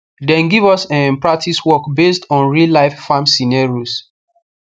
dem give us um practice work based on reallife farm scenarios